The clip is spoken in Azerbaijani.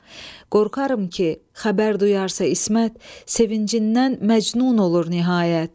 Qorxaram ki, xəbər duyarsa İsmət, sevincindən məcnun olur nihayət.